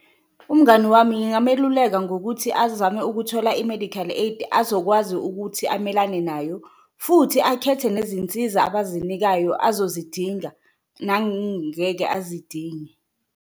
Umngani wami ngingameluleka ngokuthi azame ukuthola i-medical aid azokwazi ukuthi amelane nayo, futhi akhethe nezinsiza abazinikayo azozidinga azidinge.